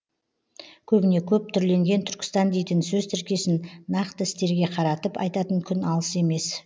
көбіне көп түрленген түркістан дейтін сөз тіркесін нақты істерге қаратып айтатын күн алыс емес